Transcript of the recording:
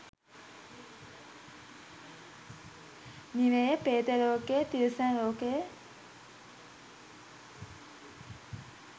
නිරය, ප්‍රේත ලෝකය, තිරිසන් ලෝකය,